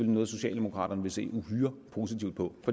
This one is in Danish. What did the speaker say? noget socialdemokraterne vil se uhyre positivt på